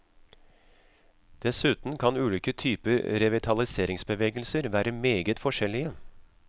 Dessuten kan ulike typer revitaliseringsbevegelser være meget forskjellige.